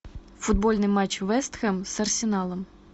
футбольный матч вест хэм с арсеналом